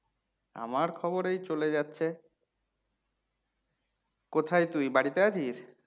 আমার খবর আই চলে যাচ্ছে। কোথা তুই? বাড়িতে আছিস?